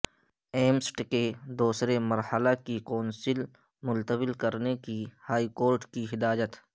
ایمسٹ کے دوسرے مرحلہ کی کونسلنگ ملتوی کرنے ہائی کورٹ کی ہدایت